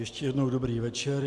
Ještě jednou dobrý večer.